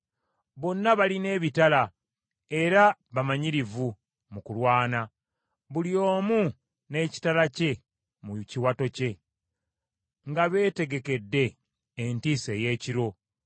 bonna balina ebitala, era bamanyirivu mu kulwana; buli omu n’ekitala kye mu kiwato kye, nga beetegekedde entiisa ey’ekiro.